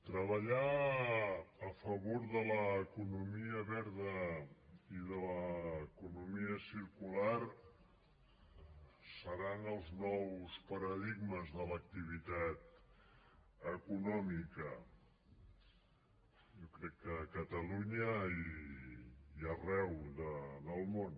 treballar a favor de l’economia verda i de l’economia circular seran els nous paradigmes de l’activitat econòmica jo crec que a catalunya i arreu del món